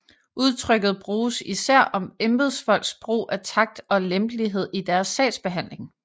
Udtrykket bruges især om embedsfolks brug af takt og lempelighed i deres sagsbehandling